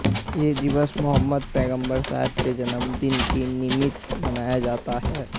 यह दिवस मोहम्मद पैगंबर साहेब के जन्म दिन के निमित्त मनाया जाता है